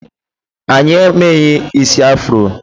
Anyị emeghị isi afro.